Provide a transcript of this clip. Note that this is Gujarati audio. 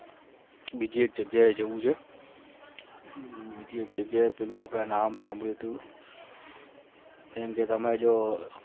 બીજી એક જગ્યા એ જાઉં છે એટલે જગ્યા પેલુ આપણા નામ સાંભળ્યું હતુ ને અમદાવાદ મા